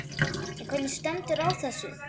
En hvernig stendur á þessu?